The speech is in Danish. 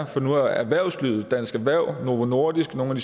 for nu har erhvervslivet dansk erhverv novo nordisk nogle